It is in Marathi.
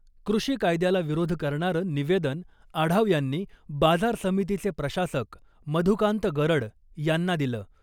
कृषी कायद्याला विरोध करणारं निवेदन आढाव यांनी बाजार समितीचे प्रशासक मधुकांत गरड यांना दिलं .